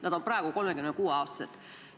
Nad on praegu 36-aastased.